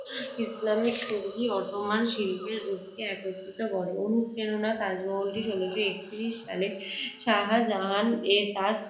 Islamic তুর্কি Ottoman শিল্পের রূপকে একত্রিত করে। অনুপ্রেরণা, তাজমহলটি ষোলশ একত্রিশ সালে শাহজাহান এ তার